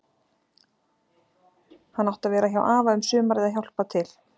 Hann átti að vera hjá afa um sumarið að hjálpa til.